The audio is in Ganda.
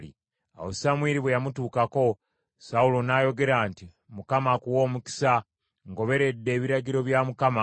Awo Samwiri bwe yamutuukako, Sawulo n’ayogera nti, “ Mukama akuwe omukisa. Ngoberedde ebiragiro bya Mukama .”